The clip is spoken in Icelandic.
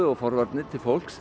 forvarnir til fólks